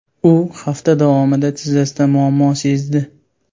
U hafta davomida tizzasida muammo sezdi.